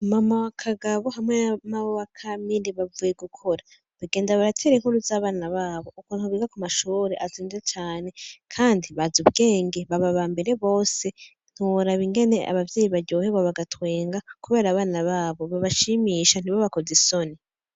Mama wa kagabo hamwe namabowa kamili bavuye gukora bagenda baratera inkuru z'abana babo uko ntubiga ku mashore azinde cane, kandi baza ubwenge baba ba mbere bose ntiworaba ingene abavyeyi baryohebwa bagatwenga, kubera abana babo babashimisha ntibo bakoze isoni.